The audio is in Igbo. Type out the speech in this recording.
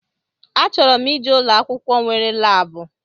A chọrọ m ije ụlọ akwụkwọ nwere laabu